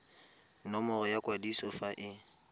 nomoro ya kwadiso fa e